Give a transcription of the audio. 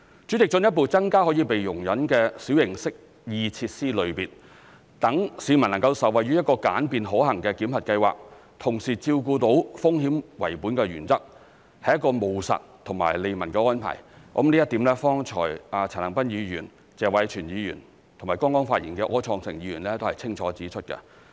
主席，進一步增加可被容忍的小型適意設施類別，讓市民能受惠於一個簡便可行的檢核計劃，同時照顧到"風險為本"的原則，是一個務實及利民的安排，這一點剛才陳恒鑌議員、謝偉銓議員和剛剛發言的柯創盛議員都清楚指出。